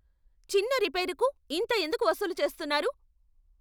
చిన్న రిపేరుకు ఇంత ఎందుకు వసూలు చేస్తున్నారు?